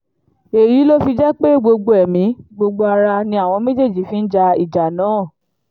èyí ló fi jẹ́ pé gbogbo ẹ̀mí gbogbo ará ni àwọn méjèèjì fi ń ja ìjà náà